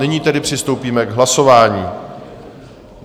Nyní tedy přistoupíme k hlasování.